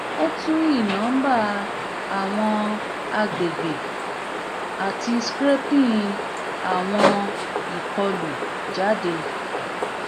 o tun i nomba awọn agbegbe ati scraping awọn ikolu jade